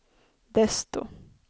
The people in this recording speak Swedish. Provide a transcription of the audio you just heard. desto